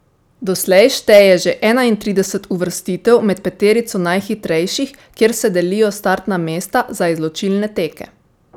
Doslej šteje že enaintrideset uvrstitev med peterico najhitrejših, kjer se delijo startna mesta za izločilne teke.